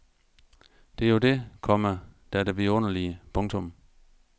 Det er jo det, komma der er det vidunderlige. punktum